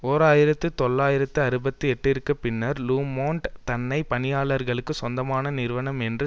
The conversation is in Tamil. ஓர் ஆயிரத்தி தொள்ளாயிரத்து அறுபத்தி எட்டுக்குப் பின்னர் லு மொன்ட் தன்னை பணியாளர்களுக்கு சொந்தமான நிறுவனம் என்று